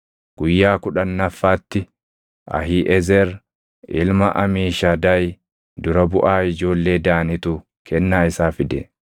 Guyyaa kudhannaffaatti Ahiiʼezer ilma Amiishadaay dura buʼaa ijoollee Daanitu kennaa isaa fide.